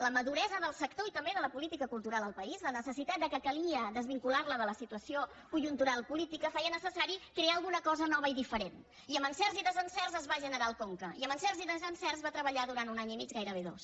la maduresa del sector i també de la política cultural al país la necessitat que calia desvincular·la de la si·tuació conjuntural política feia necessari crear alguna cosa nova i diferent i amb encerts i desencerts es va generar el conca i amb encerts i desencerts va tre·ballar durant un any i mig gairebé dos